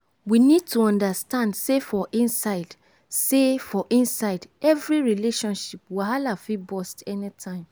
we need to understand sey for inside sey for inside every relationship wahala fit burst anytime